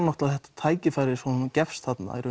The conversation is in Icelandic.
þetta tækifæri sem gefst